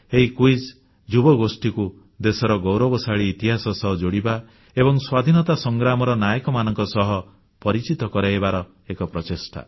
ଏହି କ୍ୱିଜ୍ ଯୁବଗୋଷ୍ଠୀକୁ ଦେଶର ଗୌରବଶାଳୀ ଇତିହାସ ସହ ଯୋଡ଼ିବା ଏବଂ ସ୍ୱାଧୀନତା ସଂଗ୍ରାମର ନାୟକମାନଙ୍କ ସହ ପରିଚିତ କରାଇବାର ଏକ ପ୍ରଚେଷ୍ଟା